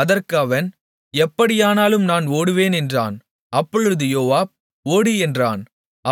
அதற்கு அவன் எப்படியானாலும் நான் ஓடுவேன் என்றான் அப்பொழுது யோவாப் ஓடு என்றான்